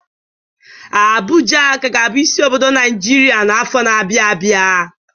Abuja ka ga-abụ isi obodo Naijiria n'afọ na-abịa.